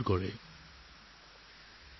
বন্ধু বান্ধৱীসকল